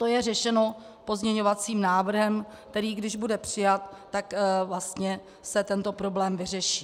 To je řešeno pozměňovacím návrhem, který když bude přijat, tak vlastně se tento problém vyřeší.